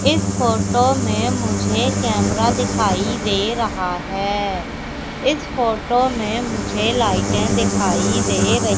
इस फोटो में मुझे कैमरा दिखाई दे रहा है इस फोटो में मुझे लाइटे दिखाई दे रही--